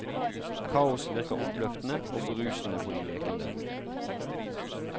Kaos virker oppløftende og berusende på de lekende.